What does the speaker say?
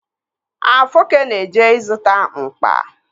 Afoke na-eje ịzụta mkpa.